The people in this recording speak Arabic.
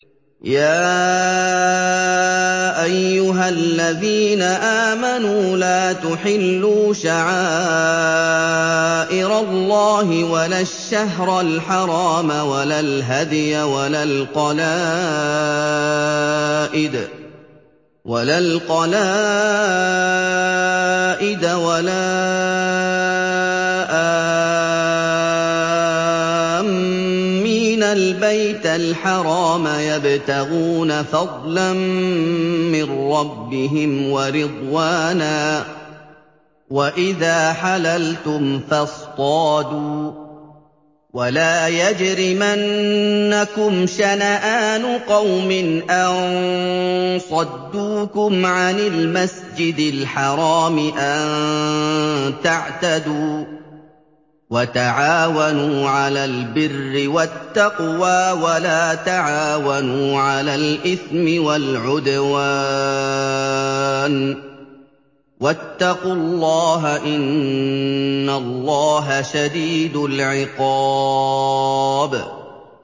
يَا أَيُّهَا الَّذِينَ آمَنُوا لَا تُحِلُّوا شَعَائِرَ اللَّهِ وَلَا الشَّهْرَ الْحَرَامَ وَلَا الْهَدْيَ وَلَا الْقَلَائِدَ وَلَا آمِّينَ الْبَيْتَ الْحَرَامَ يَبْتَغُونَ فَضْلًا مِّن رَّبِّهِمْ وَرِضْوَانًا ۚ وَإِذَا حَلَلْتُمْ فَاصْطَادُوا ۚ وَلَا يَجْرِمَنَّكُمْ شَنَآنُ قَوْمٍ أَن صَدُّوكُمْ عَنِ الْمَسْجِدِ الْحَرَامِ أَن تَعْتَدُوا ۘ وَتَعَاوَنُوا عَلَى الْبِرِّ وَالتَّقْوَىٰ ۖ وَلَا تَعَاوَنُوا عَلَى الْإِثْمِ وَالْعُدْوَانِ ۚ وَاتَّقُوا اللَّهَ ۖ إِنَّ اللَّهَ شَدِيدُ الْعِقَابِ